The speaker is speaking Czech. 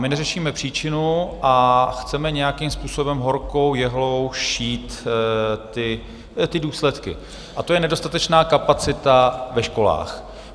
My neřešíme příčinu a chceme nějakým způsobem horkou jehlou šít ty důsledky, a to je nedostatečná kapacita ve školách.